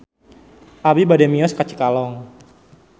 Abi bade mios ka Cikalong